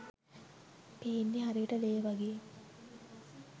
පේන්නේ හරියට ‍ලේ වගේ